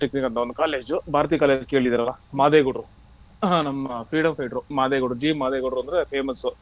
college Bharati college ಕೇಳಿದಿರಲ್ಲ uh ಮದೇವಗೌಡ್ರು ನಮ್ಮ freedom fighter ಮದೇವಗೌಡ್ರು ಜಿ ಮದೇವಗೌಡ್ರು ಅಂದ್ರೆ famous .